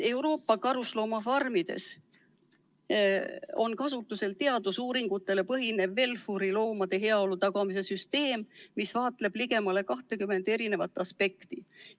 Euroopa karusloomafarmides on kasutusel teadusuuringutele põhinev puuriloomade heaolu tagamise programm WelFur, mis arvestab ligemale 20 eri aspekti.